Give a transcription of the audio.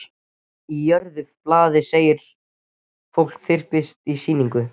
Og í öðru blaði segir: Fólk þyrpist á sýninguna.